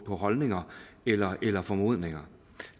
på holdninger eller eller formodninger